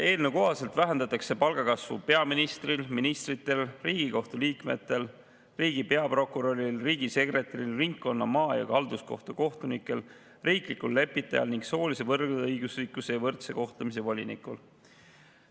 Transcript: Eelnõu kohaselt vähendatakse palgakasvu peaministril, ministritel, Riigikohtu liikmetel, riigi peaprokuröril, riigisekretäril, ringkonna‑, maa‑ ja halduskohtu kohtunikel, riiklikul lepitajal ning soolise võrdõiguslikkuse ja võrdse kohtlemise volinikul.